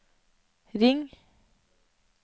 ring